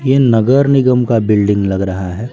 ये नगर निगम का बिल्डिंग लग रहा है।